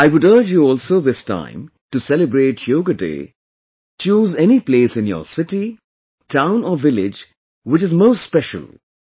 I would urge you also this time to celebrate Yoga Day, choose any place in your city, town or village which is most special